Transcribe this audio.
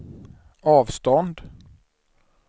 avstånd